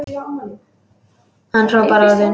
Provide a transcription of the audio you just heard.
Hann hrópar orðin.